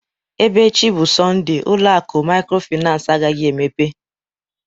Ebe echi bụ Sọnde, ụlọ akụ maykrofinans agaghị emepe